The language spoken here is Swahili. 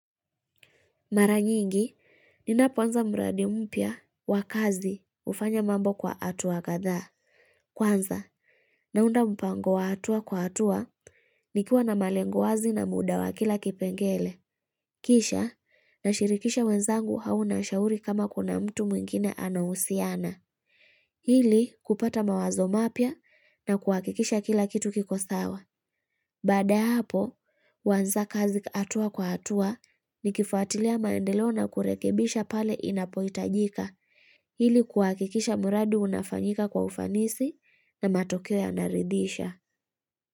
Mara nyingi, ninapo anza mradi mpya wa kazi hufanya mambo kwa hatua kadha. Kwanza, naunda mpango wa hatua kwa hatua, nikuwa na malengo wazi na muda wa kila kipengele. Kisha, nashirikisha wenzangu au nashauri kama kuna mtu mwingine anahusiana. Ili, kupata mawazo mapya na kuhakikisha kila kitu kikosawa. Baada ya hapo, huanza kazi hatua kwa hatua nikifuatilia maendeleo na kurekebisha pale inapohitajika ili kuhakikisha mradi unafanyika kwa ufanisi na matokeo yanaridhisha.